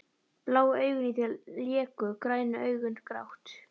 Bláu augun í þér léku grænu augun grátt.